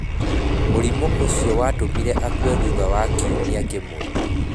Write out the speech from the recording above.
Mũrimũ ũcio watũmire akue thutha wa kiumia kĩmwe.